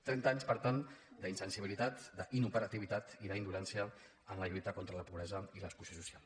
trenta anys per tant d’insensibilitat d’inoperativitat i d’indolència en la lluita contra la pobresa i l’exclusió social